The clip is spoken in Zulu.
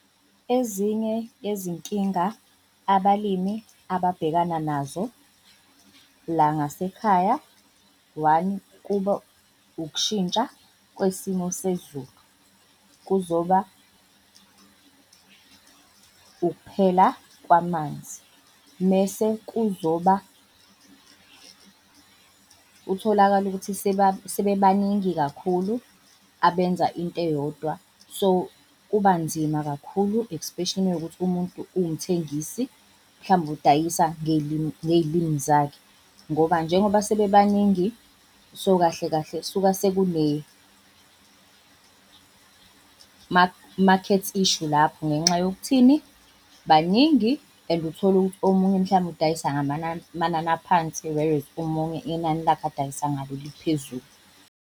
Ezinye yezinkinga abalimi ababhekana nazo la ngasekhaya, one, kuba ukushintsha kwesimo sezulu, kuzoba ukuphela kwamanzi mese kuzoba utholakale ukuthi sebebaningi kakhulu abenza into eyodwa. So kuba nzima kakhulu, especially mewukuthi umuntu uwumthengisi mhlawumbe udayisa ngey'limi ngey'limi zakhe ngoba njengoba sebebaningi so kahle kahle kusuke market issue lapho ngenxa yokuthini? Baningi and uthole omunye mhlambe udayisa ngamanani aphansi, whereas omunye inani lakhe adayisa ngalo liphezulu.